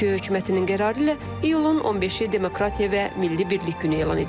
Türkiyə hökumətinin qərarı ilə iyulun 15-i Demokratiya və Milli Birlik Günü elan edilib.